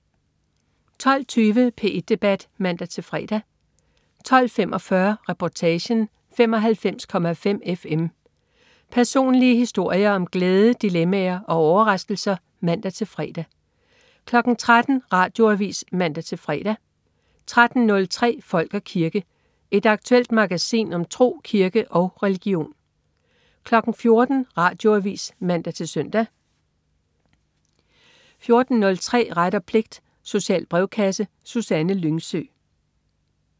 12.20 P1 Debat (man-fre) 12.45 Reportagen: 95,5 FM. Personlige historier om glæde, dilemmaer og overraskelser (man-fre) 13.00 Radioavis (man-fre) 13.03 Folk og kirke. Et aktuelt magasin om tro, kirke og religion 14.00 Radioavis (man-søn) 14.03 Ret og pligt. Social brevkasse. Susanne Lyngsø